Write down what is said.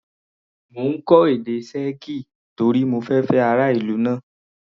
Mo ń kọ́ èdè Sẹ́ẹ̀kì torí mo fẹ fẹ́ ará ìlú náà.